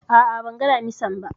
A'a, ban ga Damisan ba